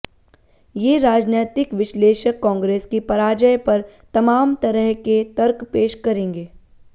ये राजनैतिक विश्लेषक कांग्रेस की पराजय पर तमाम तरह के तर्क पेश करेंगे